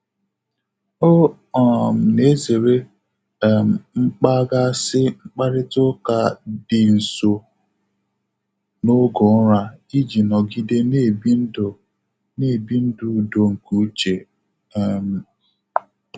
Ọ um na-ezere um mkpaghasị mkparịta ụka dị nso n'oge ụra iji nọgide na-ebi ndu na-ebi ndu udo nke uche. um